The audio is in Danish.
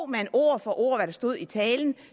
man ord for ord hvad der stod i talen